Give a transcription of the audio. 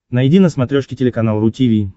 найди на смотрешке телеканал ру ти ви